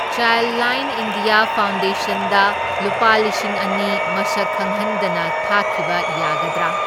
ChildLine India ꯐꯥꯎꯟꯗꯦꯁꯟꯗ ꯂꯨꯄꯥ ꯂꯤꯁꯤꯡ ꯑꯅꯤ ꯃꯁꯛ ꯈꯪꯍꯟꯗꯅ ꯊꯥꯈꯤꯕ ꯌꯥꯒꯗ꯭ꯔꯥ?